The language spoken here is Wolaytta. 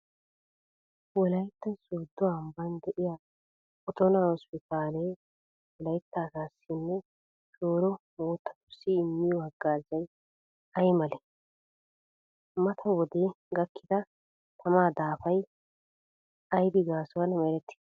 Wolaytta Soddo ambban de'iya Otona hospitable Wolaytta asaassinne shooro moottatussi immiyo haggaazay ay malee? Mata wode gakkida tamaa daafay aybi gaasuwan merettidee?